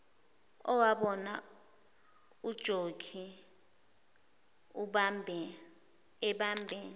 owabona ujokhi ebambe